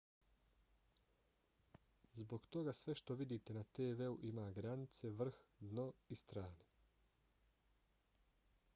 zbog toga sve što vidite na tv-u ima granice vrh dno i strane